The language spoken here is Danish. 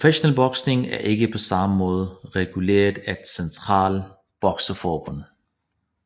Professionel boksning er ikke på samme måde reguleret af ét centralt bokseforbund